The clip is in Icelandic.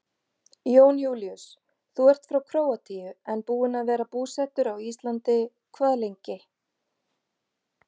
Jón Júlíus: Þú ert frá Króatíu en búinn að vera búsettur á Íslandi hvað lengi?